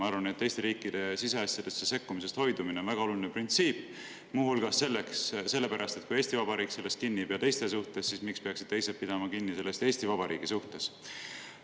Ma arvan, et teiste riikide siseasjadesse sekkumisest hoidumine on väga oluline printsiip, muu hulgas selle pärast, et kui Eesti Vabariik sellest kinni ei pea teiste suhtes, siis miks peaksid teised pidama kinni sellest Eesti Vabariigi suhtes.